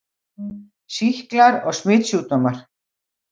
SÝKLAR OG SMITSJÚKDÓMAR